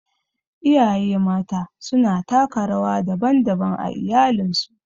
Iyaye Mata suna taka rawa daban-daban a iyalinsu.